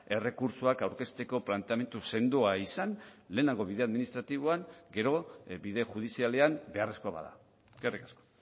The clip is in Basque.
errekurtsoak aurkezteko planteamendu sendoa izan lehenago bide administratiboan gero bide judizialean beharrezkoa bada eskerrik asko